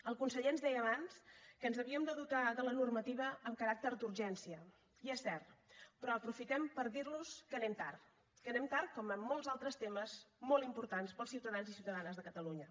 el conseller ens deia abans que ens havíem de dotar de la normativa amb caràcter d’urgència i és cert però aprofitem per dir los que anem tard que anem tard com en molts altres temes molt importants per als ciutadans i ciutadanes de catalunya